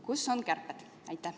Kus on kärped?